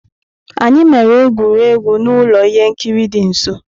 Anyị emere egwuregwu n'ụlọ ihe nkiri dị nso.